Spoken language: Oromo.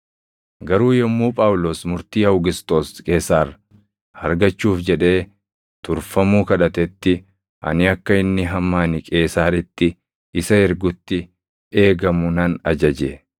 Garuu yommuu Phaawulos murtii Awugisxoos Qeesaar argachuuf jedhee turfamuu kadhatetti ani akka inni hamma ani Qeesaaritti isa ergutti eegamu nan ajaje.”